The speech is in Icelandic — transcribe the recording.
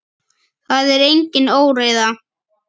Það er engin óreiða.